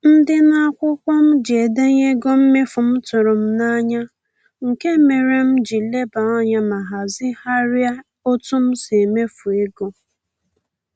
Ndịna akwụkwọ m ji edenye ego mmefu m tụrụ m n'anya, nke mere m ji lebe anya ma hazigharịa otu m si emefu ego